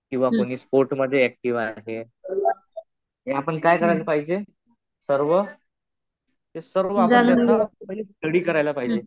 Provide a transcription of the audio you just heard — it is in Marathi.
किंवा कुणी स्पोर्ट मध्ये ऍक्टिव्ह आहे. हे आपण काय करायला पाहिजे सर्व, सर्व आपण स्टडी करायला पाहिजे.